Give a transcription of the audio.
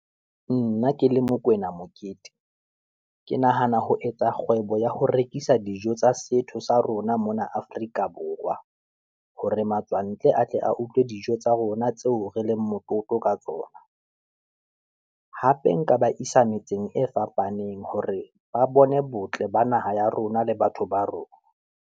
Nna ke le Mokwena Mokete, ke nahana ho etsa kgwebo ya ho rekisa dijo tsa setho sa rona mona Afrika Borwa, hore matswantle a tle a utlwileng e dijo tsa rona tseo re leng motlotlo ka tsona. Hape nka ba isa metseng e fapaneng, hore ba bone botle ba naha ya rona le batho ba rona.